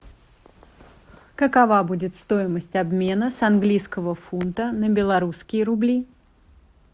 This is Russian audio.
какова будет стоимость обмена с английского фунта на белорусские рубли